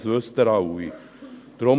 Das wissen Sie alle.